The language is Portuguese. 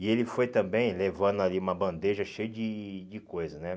E ele foi também levando ali uma bandeja cheia de de coisa, né?